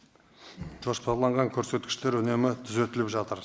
жоспарланған көрсеткіштер үнемі түзетіліп жатыр